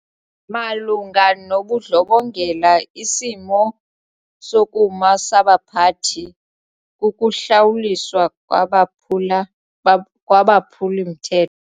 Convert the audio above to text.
Malunga nobundlobongela isimo sokuma sabaphathi kukuhlawuliswa kwabaphula kwabaphuli-mthetho.